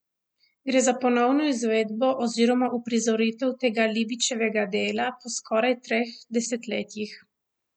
Gre za ponovno izvedbo oziroma uprizoritev tega Lebičevega dela po skoraj treh desetletjih.